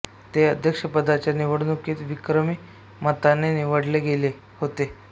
ते अध्यपदाच्या निवडणुकीत विक्रमी मताने निवडले गेले होते